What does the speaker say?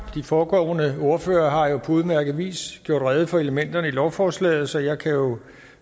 de foregående ordførere har jo på udmærket vis gjort rede for elementerne i lovforslaget så jeg kan jo